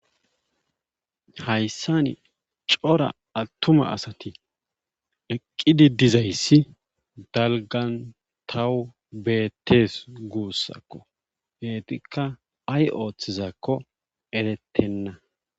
Hayssani cora attuma asati eqqidi dizayssi dalggan taw beettees guussako eetikka ay oothizaakko erettenna.